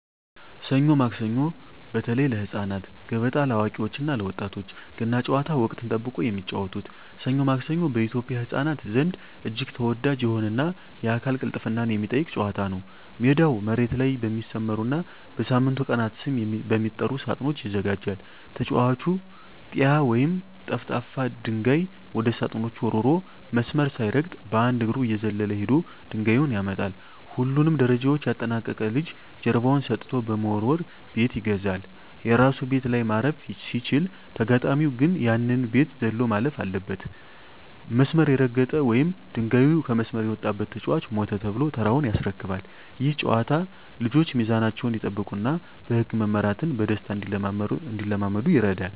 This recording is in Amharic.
ሰኞ ማክሰኞ (በተለይ ለህፃናት)፣ገበጣ (ለአዋቂዎች እና ለወጣቶች)፣ ገና ጨዋታ (ወቅትን ጠብቆ የሚጫወቱት) "ሰኞ ማክሰኞ" በኢትዮጵያ ህፃናት ዘንድ እጅግ ተወዳጅ የሆነና የአካል ቅልጥፍናን የሚጠይቅ ጨዋታ ነው። ሜዳው መሬት ላይ በሚሰመሩና በሳምንቱ ቀናት ስም በሚጠሩ ሳጥኖች ይዘጋጃል። ተጫዋቹ "ጢያ" ወይም ጠፍጣፋ ድንጋይ ወደ ሳጥኖቹ ወርውሮ፣ መስመር ሳይረግጥ በአንድ እግሩ እየዘለለ ሄዶ ድንጋዩን ያመጣል። ሁሉንም ደረጃዎች ያጠናቀቀ ልጅ ጀርባውን ሰጥቶ በመወርወር "ቤት ይገዛል"። የራሱ ቤት ላይ ማረፍ ሲችል፣ ተጋጣሚው ግን ያንን ቤት ዘሎ ማለፍ አለበት። መስመር የረገጠ ወይም ድንጋዩ ከመስመር የወጣበት ተጫዋች "ሞተ" ተብሎ ተራውን ያስረክባል። ይህ ጨዋታ ልጆች ሚዛናቸውን እንዲጠብቁና በህግ መመራትን በደስታ እንዲለማመዱ ይረዳል።